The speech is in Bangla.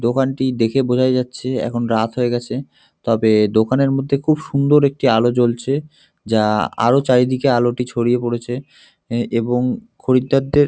দোকানটি দেখে বোঝাই যাচ্ছে এখন রাত হয়ে গেছে। তবে দোকানের মধ্যে খুব সুন্দর একটি আলো জ্বলছে যা আলো চারিদিকে আলোটি ছড়িয়ে পরেছে এ এবং খরিদ্দারদের।